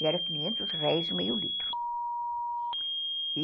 E era quinhentos réis e meio litro.